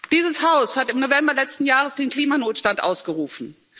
Dieses Haus hat im November letzten Jahres den Klimanotstand ausgerufen.